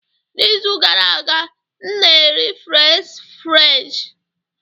N'izu gara aga, m na-eri fries french